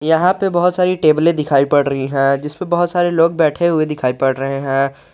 यहां पे बहुत सारी टेबलें दिखाई पड़ रही हैं जिसपे बहुत सारे लोग बैठे दिखाई पड़ रहे हैं।